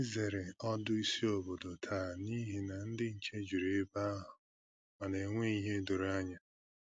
Ànyị zere ọdù ísì ọ̀bòdò taa n’ihi na ndị nche jùrù ebe ahụ ma na enweghị ìhè doro ànyà